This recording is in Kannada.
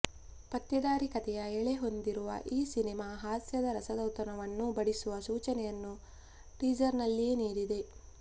ಪತ್ತೆದಾರಿ ಕಥೆಯ ಎಳೆ ಹೊಂದಿರುವ ಈ ಸಿನಿಮಾ ಹಾಸ್ಯದ ರಸದೌತಣವನ್ನೂ ಬಡಿಸುವ ಸೂಚನೆಯನ್ನು ಟೀಸರ್ನಲ್ಲಿಯೇ ನೀಡಿದೆ